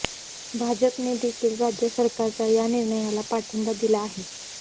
भाजपने देखील राज्य सरकारच्या या निर्णयाला पाठिंबा दिला आहे